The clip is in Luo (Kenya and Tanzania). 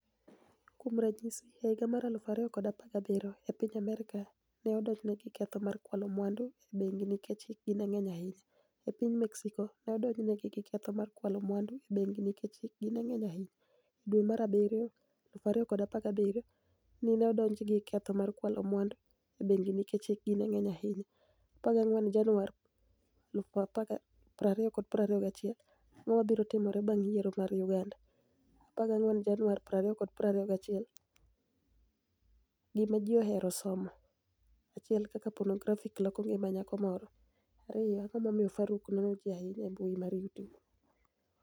Kuom raniyisi, e higa mar 2017, e piniy Amerka, ni e odonijni egi gi ketho mar kwalo mwanidu e benigi niikech hikgi ni e nig'eniy ahiniya. E piniy Mexico, ni e odonijni egi gi ketho mar kwalo mwanidu e benigi niikech hikgi ni e nig'eniy ahiniya. E dwe mar dwe mar abiryo 2017, ni e odonijni egi gi ketho mar kwalo mwanidu e benigi niikech hikgi ni e nig'eniy ahiniya. 14 Janiuar 2021 Anig'o mabiro timore banig' yiero mar Uganida? 14 Janiuar 2021 Gima Ji Ohero Somo 1 Kaka Ponografi noloko nigima niyako Moro 2 Anig'o MomiyoFaruk nono ji ahiniya e mbui mar YouTube?